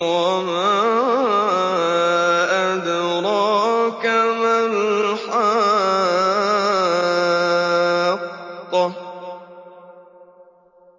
وَمَا أَدْرَاكَ مَا الْحَاقَّةُ